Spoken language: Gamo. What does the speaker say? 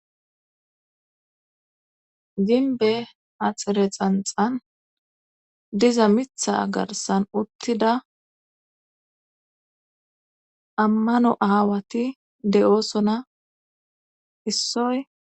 Ginbe axire xanxan diza mitha garsan uttida ammano aawati de7oosona issoy.